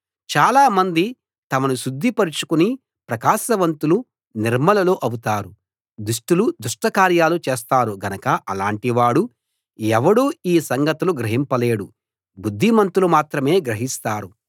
చాలా మంది తమను శుద్ధిపరచుకుని ప్రకాశవంతులు నిర్మలులు అవుతారు దుష్టులు దుష్ట కార్యాలు చేస్తారు గనక అలాంటివాడు ఎవడూ ఈ సంగతులు గ్రహించలేడు బుద్ధిమంతులు మాత్రమే గ్రహిస్తారు